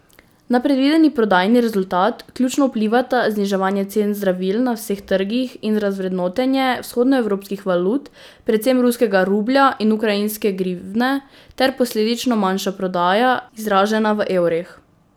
Na predvideni prodajni rezultat ključno vplivata zniževanje cen zdravil na vseh trgih in razvrednotenje vzhodnoevropskih valut, predvsem ruskega rublja in ukrajinske grivne, ter posledično manjša prodaja, izražena v evrih.